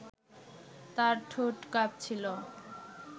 তার ঠোঁট কাঁপছিল